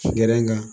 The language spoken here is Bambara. Gɛrɛ ŋa